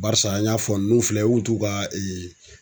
Barisa an y'a fɔ n'u filɛ u t'u ka